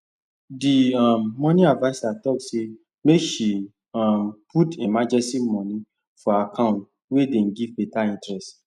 the um money adviser talk say make she um put emergency money for account wey dey give better interest